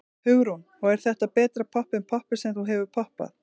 Hugrún: Og er þetta betra popp en poppið sem þú hefur poppað?